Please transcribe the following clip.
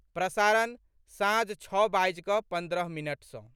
प्रसारण, साँझ छओ बाजि कऽ पन्द्रह मिनट सँ